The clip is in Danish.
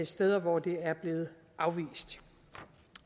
steder hvor det er blevet afvist